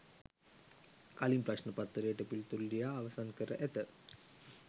කලින්ම ප්‍රශ්න පත්‍රයට පිළිතුරු ලියා අවසන් කර ඇත